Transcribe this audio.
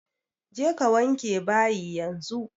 Je ka wanke bayi yanzu!